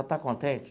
Está contente?